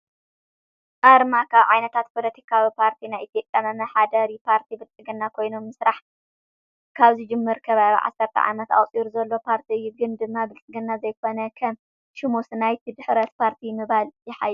ኣርማ፦ ካብ ዓይነታት ፖሊቲካዊ ፖርቲ ናይ ኢትዮጰያ መመሓዳሪ ፓርቲ ብልፅግና ኮይኑ ምስራሕ ካብ ዝጅምር ከባቢ 10 ዓመት ኣቁፂሩ ዘሎ ፓርቲ እዩ። ግን ድማ ብልፅግና ዘይኮነ ከም ሽሙስ ናይ ድሕረት ፓርቲ ምባል የሓይሽ።